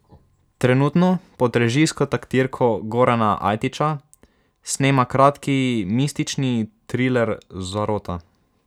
Trenutno pod režijsko taktirko Gorana Ajtiča snema kratki mistični triler Zarota.